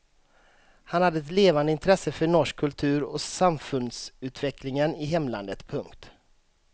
Han hade ett levande intresse för norsk kultur och samfundsutvecklingen i hemlandet. punkt